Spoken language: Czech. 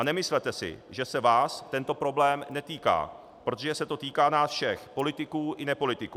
A nemyslete si, že se vás tento problém netýká, protože se to týká nás všech - politiků i nepolitiků.